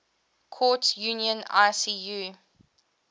courts union icu